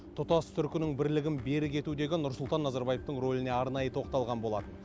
тұтас түркінің бірлігін берік етудегі нұрсұлтан назарбаевтың рөліне арнайы тоқталған болатын